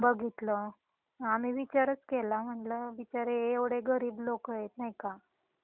तेव्हा मी बघितल आणि विचारच केला म्हणल बिचारे हे एव्हडे गरीब लोंकएत नाही का.